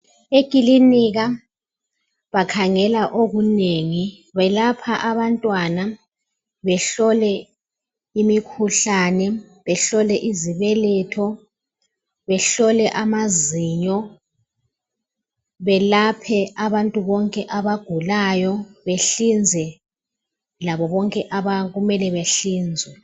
eklinika bakhangela okunengi balapha abantwana, bahola imikhuhlane, behlole izibeletho, behlole amazinyo, belaphe bonke abantu abagulayo, behlinze okumele behlinzwe.